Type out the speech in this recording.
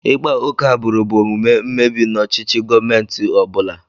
Ịkpa oke agbụrụ bụ omume mmebi n'ọchịchị gọmentị ọ bụla.